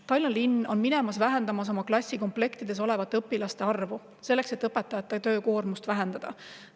Tallinna linn vähendada õpilaste arvu klassikomplektides, selleks et õpetajate töökoormust vähendada.